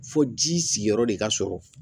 Fo ji sigiyɔrɔ de ka sɔrɔ